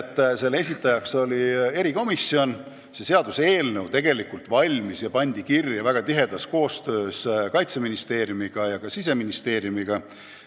Kuigi eelnõu algatas erikomisjon, oli see tegelikult valmis, kuna oli kirja pandud väga tihedas koostöös Kaitseministeeriumi ja Siseministeeriumiga.